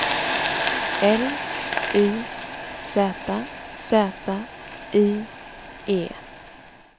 L I Z Z I E